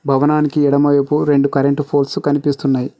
భవనానికి ఎడమ వైపు రెండు కరెంట్ ఫోల్స్ కనిపిస్తున్నాయి.